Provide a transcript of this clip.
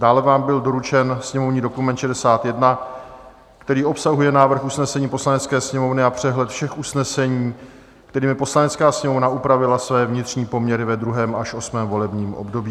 Dále vám byl doručen sněmovní dokument 61, který obsahuje návrh usnesení Poslanecké sněmovny a přehled všech usnesení, kterými Poslanecká sněmovna upravila své vnitřní poměry ve 2. až 8. volebním období.